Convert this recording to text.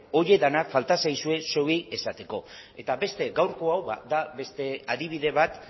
horiek denak falta zaizue zeuei esateko eta beste gaurko hau da beste adibide bat